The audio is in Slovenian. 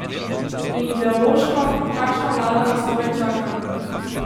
In ideološko, kakšna vlada nas torej čaka?